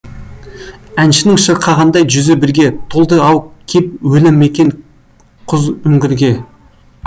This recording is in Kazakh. әншінің шырқағандай жүзі бірге толды ау кеп өлі мекен құз үңгірге